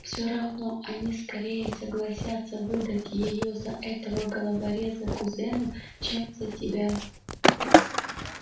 всё равно они скорее согласятся выдать её за этого головореза-кузена чем за тебя